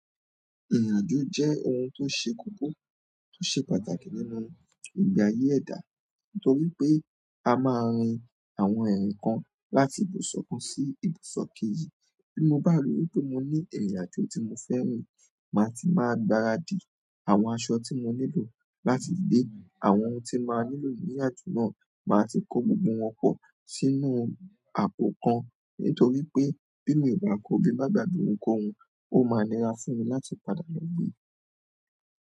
Ìrìn-àjò jẹ́ ohun tó ṣe kókó, tó ṣe pàtàkì nínú ìgbé ayé ẹ̀dá, nítorí pé a máa rin àwọn ìrìn kan láti ibùsọ̀ kan sí ibùsọ̀ kejì. Bí mo bá rí wípé mo ní ìrìn-àjò tí mo fẹ́ rìn, màá ti máa gbàradì àwọn aṣọ tí mo nílò láti gbé, àwọn ohun tí n máa nílò ní ìrìn-àjò náà, màá ti kó gbogbo wọn pọ̀ sínú àpò kan. Nítorí pé bí mi ò bá ko, bí ń bá gbàgbé ohunkóhun, ó máa nira fún mi láti padà lọ gbe.